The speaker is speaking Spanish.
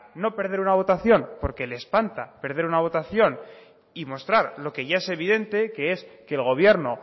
no perder una votación porque le espanta perder una votación y mostrar lo que ya es evidente que es que el gobierno